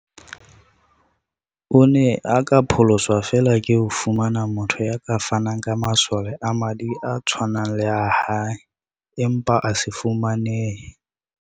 O ne a ka pholoswa feela ke ho fumana motho ya ka fanang ka masole a madi a tshwanang le a hae, empa a se fumanehe.